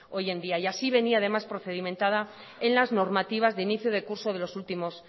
hoy en día y así venía además procedimentada en las normativas de inicio de curso de los últimos